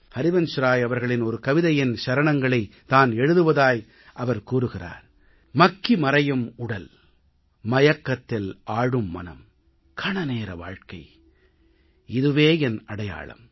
ஹரிவன்ஷ்ராய் அவர்களின் ஒரு கவிதையின் சரணங்களைத் தான் எழுதுவதாய் அவர் கூறுகிறார் மக்கி மறையும் உடல் மயக்கத்தில் ஆழும் மனம் கணநேர வாழ்க்கை இதுவே என் அடையாளம்